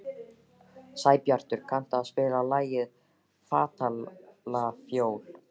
Sæbjartur, kanntu að spila lagið „Fatlafól“?